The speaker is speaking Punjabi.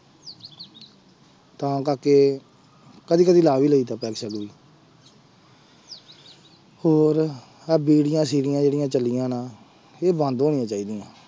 ਤਾਂ ਕਰਕੇ ਕਦੇ ਕਦੇ ਲਾ ਵੀ ਲਈਦਾ ਪੈਗ ਸੈਗ ਵੀ ਹੋਰ ਆਹ ਬੀੜੀਆਂ ਸੀੜੀਆਂ ਜਿਹੜੀਆਂ ਚੱਲੀਆਂ ਨਾ ਇਹ ਬੰਦ ਹੋਣੀਆਂ ਚਾਹੀਦੀਆਂ।